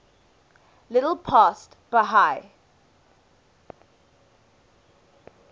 little past bahia